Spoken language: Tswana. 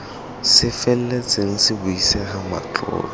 se feletseng se buisega matlotlo